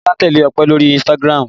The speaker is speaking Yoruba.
Bisola ń tẹ́lẹ̀ Ọpẹ lórí Instagram